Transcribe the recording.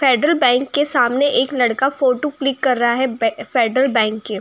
Federal bank के सामने एक लड़का फोटू क्लिक कर रहा है। बै फेड्रल बैंक के --